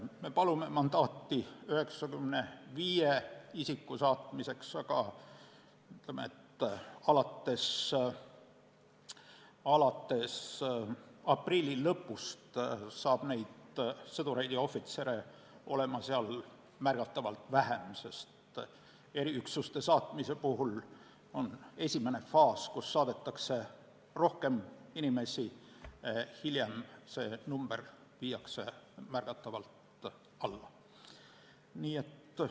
Me palume mandaati 95 isiku saatmiseks, aga ütleme, et alates aprilli lõpust on seal sõdureid ja ohvitsere märgatavalt vähem, sest eriüksuste puhul saadetakse esimeses faasis rohkem inimesi, hiljem aga viiakse see arv märgatavalt alla.